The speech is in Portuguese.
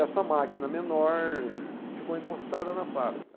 Essa máquina menor ficou encostada na fábrica.